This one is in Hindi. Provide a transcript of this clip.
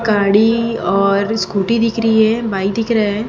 गाड़ी और स्कूटी दिख रही है बाइक दिख रहा है।